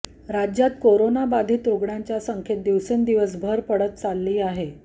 राज्यात कोरोना बाधित रुग्णांच्या संख्येत दिवसेंदिवस भर पडत चाललेली आहे